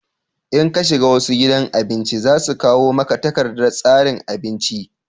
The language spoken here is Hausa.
in ka shiga wasu gidan abinci za a kawo maka takardar tsarin abinci